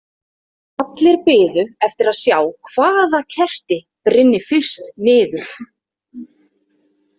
Allir biðu eftir að sjá hvaða kerti brynni fyrst niður.